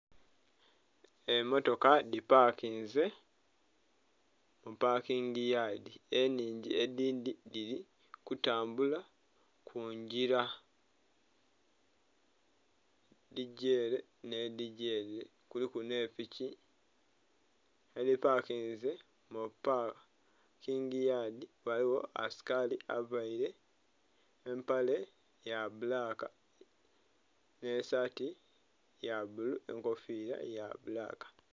Emotoka dhi pakinze mu pakingi yaadi enhingi edhindhi dhili kutambula kungila, edigya ere nhe dhigya ere kuliku nhe piki edhipakinze mu paakingi yaadi ghaligho asikali avaire empale ya bbulaka nhe saati ya bbulu nhe enkofira ya bbulaka.